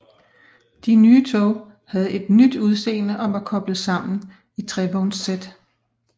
De nye tog havde et nyt udseende og var koblet sammen i trevognssæt